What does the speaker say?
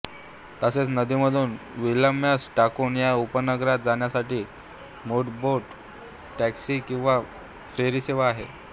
तसेच नदीमधून Williamstown या उपनगरात जाण्यासाठी मोटारबोट टॅक्सी किंवा फेरी सेवा आहे